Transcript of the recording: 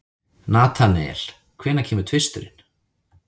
Natanael, hvenær kemur tvisturinn?